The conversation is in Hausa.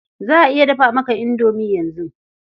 Za a iya dafa maka indomi yanzu.